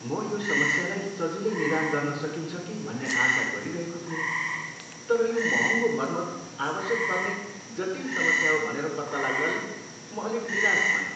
म यो समस्यालाई सजिलै निदान गर्न सकिन्छ कि भन्ने आशा गरिरहेको थिएँ, तर यो महँगो मर्मत आवश्यक पर्ने जटिल समस्या हो भनेर पत्ता लाग्नाले म अलिक निराश भएँ।